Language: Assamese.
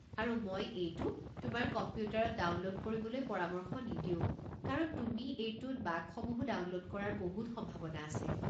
আৰু মই এইটো তোমাৰ কম্পিউটাৰত ডাউনলোড কৰিবলৈ পৰামৰ্শ নিদিও কাৰণ তুমি এইটোত বাগসমূহো ডাউনলোড কৰাৰ বহুত সম্ভাৱনা আছে।